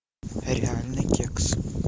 реальный кекс